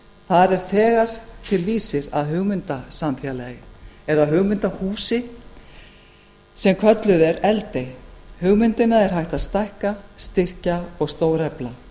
þar er þegar til vísir að hugmyndasamfélagi eða hugmyndahúsi sem kallað er eldey hugmyndina er hægt að stækka styrkja og stórefla